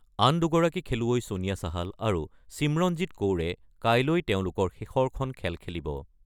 আন দুগৰাকী খেলুৱৈ ছোনিয়া চাহাল আৰু ছিমৰনজিৎ কৌৰে কাইলৈ তেওঁলোকৰ শেষৰখন খেল খেলিব।